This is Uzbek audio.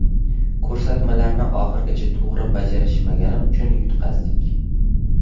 Ko‘rsatmalarni oxirigacha to‘g‘ri bajarishmagani uchun yutqazdik.